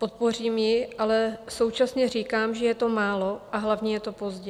Podpořím ji, ale současně říkám, že je to málo, a hlavně je to pozdě.